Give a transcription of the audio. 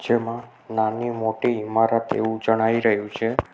જેમાં નાની મોટી ઈમારત એવું જણાઈ રહ્યું છે.